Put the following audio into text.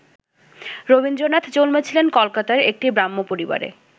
রবীন্দ্রনাথ জন্মেছিলেন কলকাতার একটি ব্রাহ্ম পরিবারে।